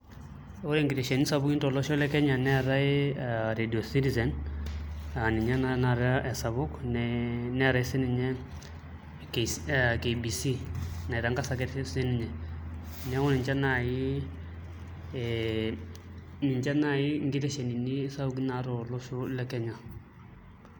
Ore nkiteshoni sapukin tolosho le Kenya neetai ee Radio Citizen aa ninye naa tanakata esapuk ee neetai sininye KBC naitangasa ake sininye neeku ninche naai ee ninche naai nkiteshonini sapukin tolosho le Kenya.